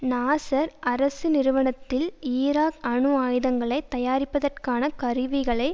நாசர் அரசு நிறுவனத்தில் ஈராக் அணு ஆயுதங்களை தயாரிப்பதற்கான கருவிகளை